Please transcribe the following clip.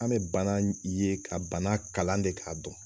An be bana ye, ka bana kalan de k'a dɔn.